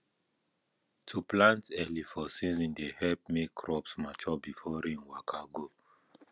to plant early for season dey help make crops mature before rain waka go